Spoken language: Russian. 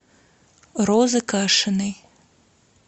розы кашиной